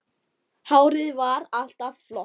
Hárið var alltaf flott.